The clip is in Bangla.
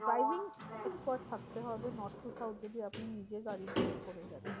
Driving expert থাকতে হবে north to south এ যদি আপনি নিজে গাড়ি drive করে যাচ্ছেন।